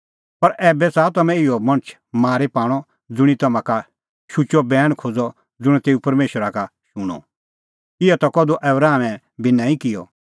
पर ऐबै च़ाहा तम्हैं इहै मणछा मारी पाणअ ज़ुंणी तम्हां का शुचअ बैण खोज़अ ज़ुंण तेऊ परमेशरा का शूणअ इहअ ता कधू आबरामै बी नांईं किअ